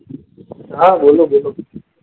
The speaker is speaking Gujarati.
હા બોલો બોલો.